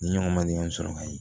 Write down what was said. Ni ɲɔgɔn ma ɲɔgɔn sɔrɔ ka ye